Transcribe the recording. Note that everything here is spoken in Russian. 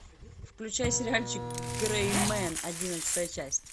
включай сериальчик грей мен одиннадцатая часть